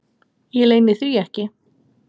Ég leyni því ekki.